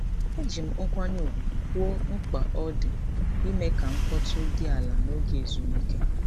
Eji m nkwanye ùgwù kwuo mkpa ọ dị ime ka mkpọtụ dị ala n'oge ezumike.